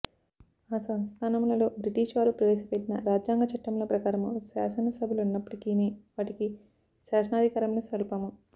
ఆ సంస్థానములలో బ్రిటిష్ వారు ప్రవేశ పెట్టిన రాజ్యాంగ చట్టముల ప్రకారము శాసనసభలున్నప్పటికినీ వాటికి శాసనాధికారములు స్వల్పము